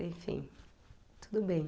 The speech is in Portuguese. Enfim, tudo bem.